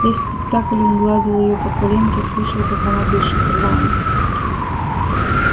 весь спектакль он гладил её по коленке слушал как она дышит рвано